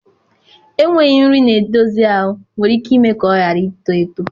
Enweghị nri na-edozi ahụ nwere ike ime ka ọ ghara ito eto.